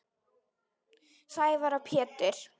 Sævar og Pétur.